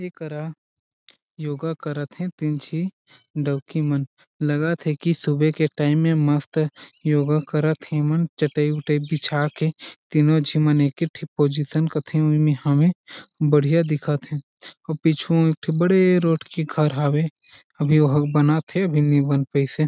ए करा योगा करत हे ही तीन झी डौकी मन लगत हे की सुबह के टाइम में मस्त योगा करत हिम चटाई उठाई बिछा के तीनो झी एकेठिन पोजीसन कथीन यहाँ में बढ़िया दिखत हे ओह पीछू में एक ठो बड़े रोड के घर हावे अभी वो बनत हे अभी नहीं बन पाइस हे।